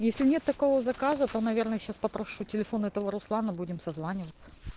если нет такого заказа то наверное сейчас попрошу телефон этого руслана будем созваниваться